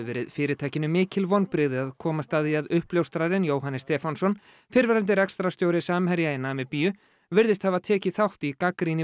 verið fyrirtækinu mikil vonbrigði að komast að því að uppljóstrarinn Jóhannes Stefánsson fyrrverandi rekstrarstjóri Samherja í Namibíu virðist hafa tekið þátt í